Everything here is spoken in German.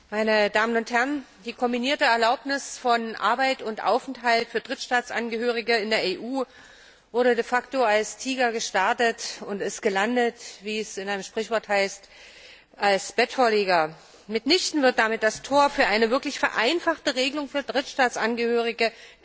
Herr Präsident, meine Damen und Herren! Die kombinierte Erlaubnis von Arbeit und Aufenthalt für Drittstaatsangehörige in der EU wurde de facto als Tiger gestartet und ist wie es in einem Sprichwort heißt als Bettvorleger gelandet. Mitnichten wird damit das Tor für eine wirklich vereinfachte Regelung für Drittstaatsangehörige,